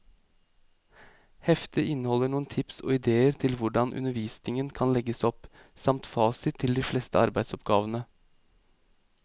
Heftet inneholder noen tips og idéer til hvordan undervisningen kan legges opp, samt fasit til de fleste arbeidsoppgavene.